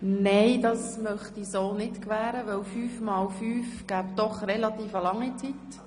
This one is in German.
Nein, das möchte ich so nicht gewähren, denn fünfmal fünf ergäbe doch eine relativ lange Zeit.